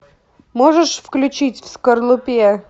можешь включить в скорлупе